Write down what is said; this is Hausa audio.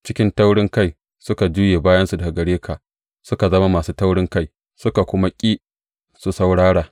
Cikin taurinkai suka juye bayansu daga gare ka, suka zama masu taurinkai, suka kuma ƙi su saurara.